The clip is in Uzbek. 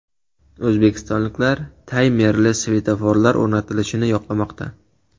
O‘zbekistonliklar taymerli svetoforlar o‘rnatilishini yoqlamoqda.